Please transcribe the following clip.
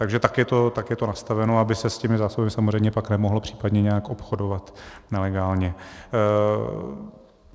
Takže tak je to nastaveno, aby se s těmi zásobami samozřejmě pak nemohlo případně nějak obchodovat nelegálně.